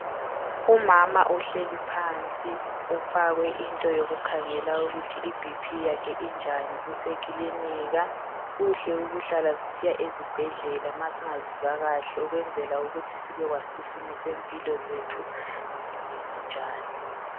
Umama uhleli phansi ufakwe into yokukhangela ukuthi iBP yakhe injani usekilinika. Kuhle ukuhlala sisiya ezibhedlela ma singazizwa kahle ukwenzela ukuthi sibekwazi ukuthi isimo sempilo zethu zimi kanjani.